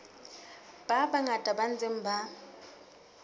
ba bangata ba ntseng ba